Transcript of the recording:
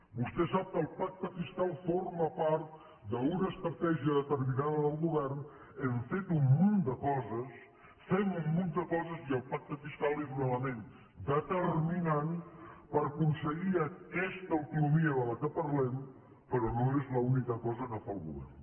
vostè sap que el pacte fiscal forma part d’una estratègia determinada del govern hem fet un munt de coses fem un munt de coses i el pacte fiscal és un element determinant per aconseguir aquesta autonomia de què parlem però no és l’única cosa que fa el govern